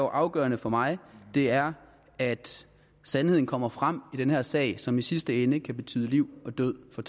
afgørende for mig er at sandheden kommer frem i den her sag som i sidste ende kan betyde liv eller død for